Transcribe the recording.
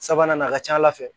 Sabanan nin a ka ca ala fɛ